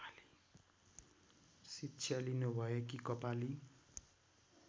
शिक्षा लिनुभएकी कपाली